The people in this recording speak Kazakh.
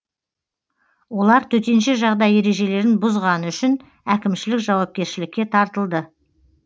олар төтенше жағдай ережелерін бұзғаны үшін әкімшілік жауапкершілікке тартылды